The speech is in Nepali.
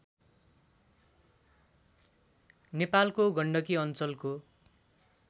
नेपालको गण्डकी अञ्चलको